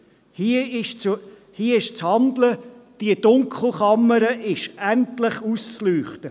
Hier ist zu handeln, die Dunkelkammer ist endlich auszuleuchten!